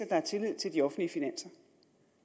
er tillid til de offentlige finanser